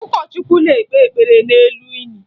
Ụkọchukwu na-ekpe ekpere n'elu ini